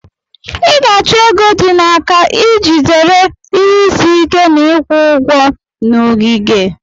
Ị ga-achọ ego dị n'aka iji zere ihe isi ike Na ịkwụ ụgwọ na ogige.